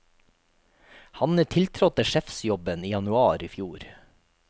Han tiltrådte sjefsjobben i januar i fjor.